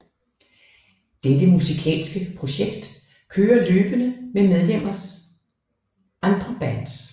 Dette musikalske projekt kører løbende med medlemmers andre bands